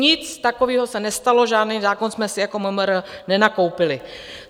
Nic takového se nestalo, žádný zákon jsme si jako MMR nenakoupili.